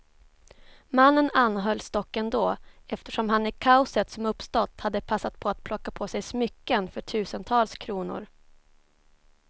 Mannen anhölls dock ändå, eftersom han i kaoset som uppstått hade passat på att plocka på sig smycken för tusentals kronor.